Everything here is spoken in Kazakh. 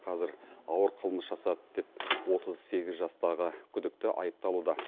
қазір ауыр қылмыс жасады деп отыз сегіз жастағы күдікті айыпталуда